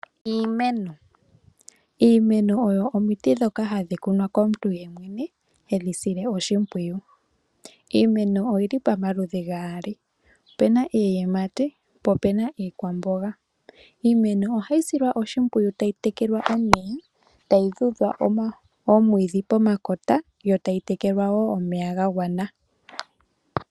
Iimeno oyo omiti dhoka hadhi kunwa komuntu yemwene heyi sile oshimpwiyu. Iimeno oyili pamaludhi gaali opena iiyimati po opena iikwamboga. Iimeno ohayi silwa oshimpwiyu tayi tekelwa omeya, tayi tudhwa omwiidhi pomakota yo tayi tekelwa woo omeya gagwana.